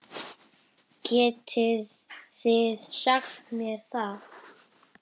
Getið þið sagt mér það?